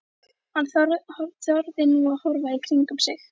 Hann þorði nú að horfa í kringum sig.